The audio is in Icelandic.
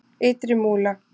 Ytri Múla